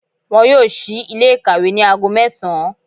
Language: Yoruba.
Wọn yóò sí Ilé ìkàwé ní aago mẹ́sàn án